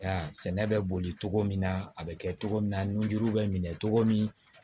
Ya sɛnɛ bɛ boli cogo min na a bɛ kɛ cogo min na nunji bɛ minɛ cogo min